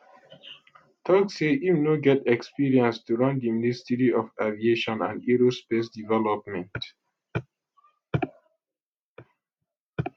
tok say im no get experience to run di ministry of aviation and aerospace development